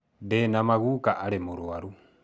Ndĩ na ma guka arĩ mũrwaru